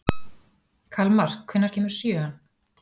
Kalmar, hvenær kemur sjöan?